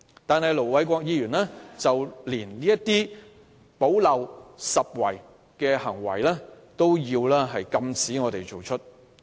然而，盧偉國議員連我們進行補漏拾遺的工作也要阻撓。